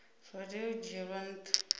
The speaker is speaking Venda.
zwa tea u dzhielwa ntha